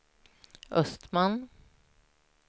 Östman